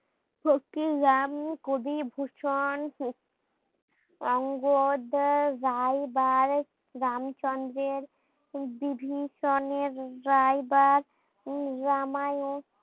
ফকির Ram Kabibhushan অঙ্গদা রাই বা রাম চন্দ্রের বিভীষণে রাইবার রামায়ণ